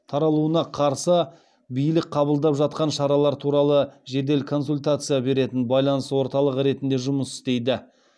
таралуына қарсы билік қабылдап жатқан шаралар туралы жедел консультация беретін байланыс орталығы ретінде жұмыс істейді